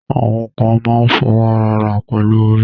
Awọn kàn mà n fọ́wọ́ra arà pẹ̀lú orí.